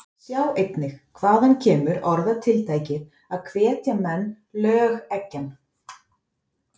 Sjá einnig: Hvaðan kemur orðatiltækið að hvetja menn lögeggjan?